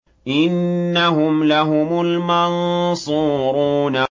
إِنَّهُمْ لَهُمُ الْمَنصُورُونَ